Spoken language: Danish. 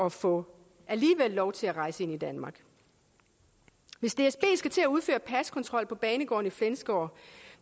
at få lov til at rejse ind i danmark hvis dsb skal til at udføre paskontrol på banegården i flensborg